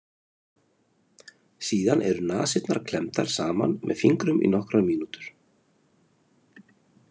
Síðan eru nasirnar klemmdar saman með fingrum í nokkrar mínútur.